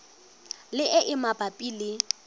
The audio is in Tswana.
le e e mabapi le